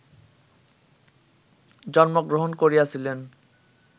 জন্মগ্রহণ করিয়াছিলেন